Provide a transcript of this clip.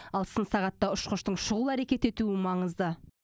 ал сын сағатта ұшқыштың шұғыл әрекет етуі маңызды